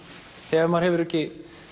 þegar maður hefur ekki